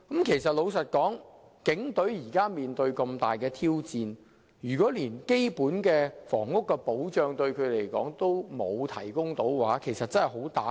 老實說，警隊現正面對重大的挑戰，如果連基本的房屋保障也欠奉，將會對士氣造成嚴重打擊。